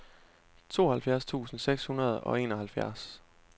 tooghalvfjerds tusind seks hundrede og enoghalvfjerds